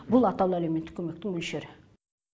бұл атаулы әлеуметтік көмектің мөлшері